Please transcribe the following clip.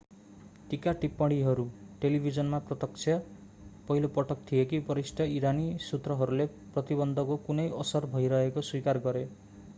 टीका-टिप्पणीहरू टेलिभिजनमा प्रत्यक्ष पहिलो पटक थिए कि वरिष्ठ ईरानी सुत्रहरूले प्रतिबन्धको कुनै असर भइरहेको स्वीकार गरे